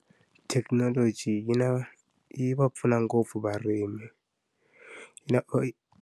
Thekinoloji yi na yi va pfuna ngopfu varimi na .